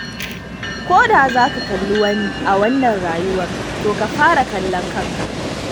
Ko da za ka kalli wani a wannan rayuwar, to ka fara kallon kanka.